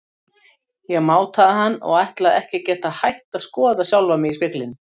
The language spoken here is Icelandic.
Ég mátaði hann og ætlaði ekki að geta hætt að skoða sjálfa mig í speglinum.